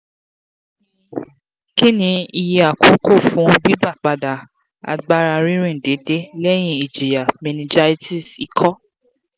kini iye akoko fun gbigbapada agbara ririn deede lẹhin ijiya meningitis iko?